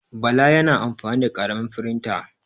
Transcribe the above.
Bala yana amfani da ƙaramin firinta.